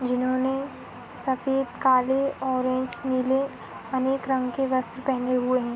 जिन्होंने सफ़ेद काले ऑरेंज नीले अनेक रंग के वस्त्र पहने हुए हैं।